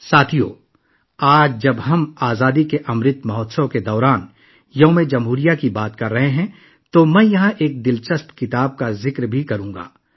دوستو، آج جب ہم آزادی کے امرت مہوتسو کے دوران اپنے یوم جمہوریہ پر بات کر رہے ہیں تو میں یہاں ایک دلچسپ کتاب کا بھی ذکر کروں گا